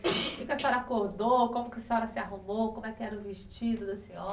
A senhora acordou, como que a senhora se arrumou, como era o vestido da senhora?